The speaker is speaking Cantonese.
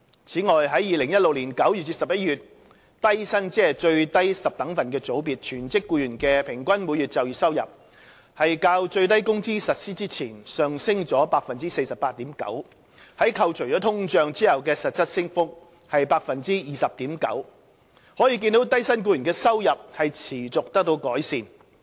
此外，在2016年9月至11月，低薪全職僱員的平均每月就業收入較最低工資實施前上升了 48.9%， 扣除通脹後的實質升幅是 20.9%， 可見低薪僱員的收入持續得到改善。